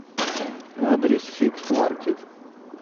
адрес фикс маркет